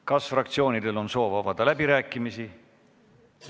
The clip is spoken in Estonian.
Kas fraktsioonidel on soovi avada läbirääkimisi?